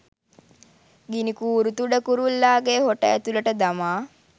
ගිණිකූරු තුඩ කුරුල්ලාගේ හොට ඇතුළට දමා